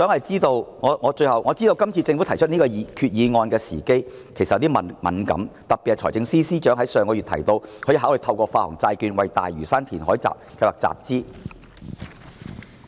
最後，政府今次提出此項決議案的時機其實有些敏感，尤其是財政司司長上月提到可以考慮透過發行債券為大嶼山填海計劃集資。